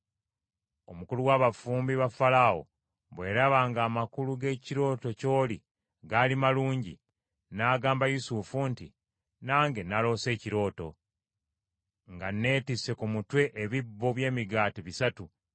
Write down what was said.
Omukulu w’abafumbi ba Falaawo bwe yalaba ng’amakulu g’ekirooto ky’oli gaali malungi, n’agamba Yusufu nti, “Nange naloose ekirooto: nga neetisse ku mutwe ebibbo by’emigaati bisatu.